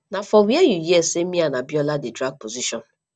na for where you hear say me and abiola dey drag position